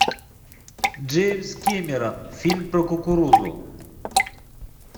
джеймс кэмерон фильм про кукурузу